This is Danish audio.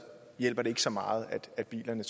hjælper det ikke så meget at bilerne